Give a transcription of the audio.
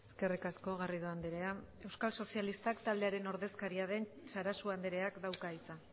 eskerrik asko garrido andrea euskal sozialistak taldearen ordezkaria den sarasua andreak dauka hitza